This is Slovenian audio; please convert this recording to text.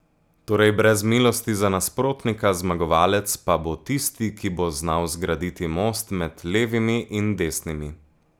Torej brez milosti za nasprotnika, zmagovalec pa bo tisti, ki bo znal zgraditi most med levimi in desnimi.